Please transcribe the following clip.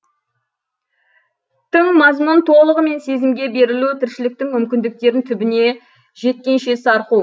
тың мазмұн толығымен сезімге берілу тіршіліктің мүмкіндіктерін түбіне жеткенше сарқу